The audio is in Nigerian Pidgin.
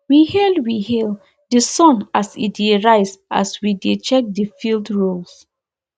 we hail we hail the sun as e dey rise as we dey check the field rows